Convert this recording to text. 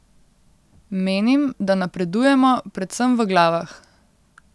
Menim, da napredujemo, predvsem v glavah.